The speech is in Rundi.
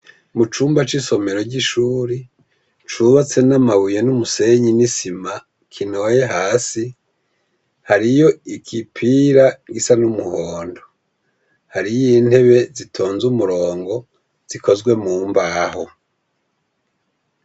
Mucumba c'isomero c'ishure, cubatse n'amabuye n'umusenyi n'isima kinoye hasi, hariyo igipira gisa n'umuhondo, hariyo intebe zitonze umurongo zikozwe mumbaho.